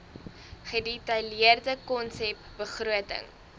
gedetailleerde konsep begroting